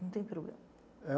Não tem problema.